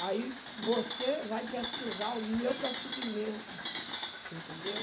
Aí você vai pesquisar o meu procedimento, você entendeu?